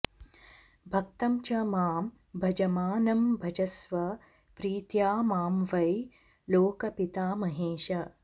भक्तं च मां भजमानं भजस्व प्रीत्या मां वै लोकपितामहेश